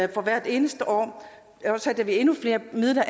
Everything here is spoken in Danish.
vi for hvert eneste år afsætter endnu flere midler